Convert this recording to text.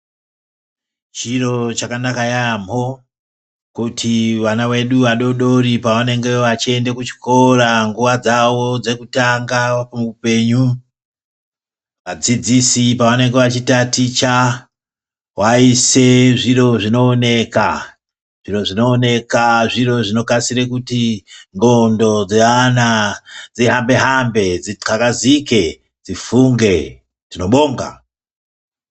chiro chakanaka yaamho kuti ,vana vedu vadododri pavanenge veiende kuchikora nguwa dzavo dzekutanga muupenyu ,vadzidzisi pavanonga veitaticha vaise zviro zvinooneka, zviro zvinooneka zviro zvinokasire kuti ngqondo dzavana dzihambe hambe ,dzithakazike ,dzifunge, tinobonga.